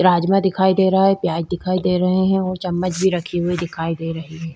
राजमा दिखाई दे रहा है। प्याज दिखाई दे रहे हैं और चम्मच भी रखी हुई दिखाई दे रही है।